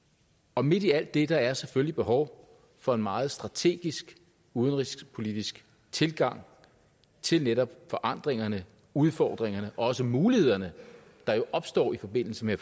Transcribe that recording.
og midt i alt det er der selvfølgelig behov for en meget strategisk udenrigspolitisk tilgang til netop forandringerne udfordringerne og også mulighederne der jo opstår i forbindelse med